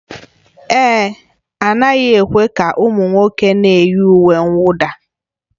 Èé, a naghị ekwe ka ụmụ nwoke na-eyi uwe mwụda